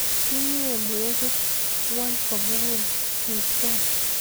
kinyei mwekik ng'ony ko mugul, ribgei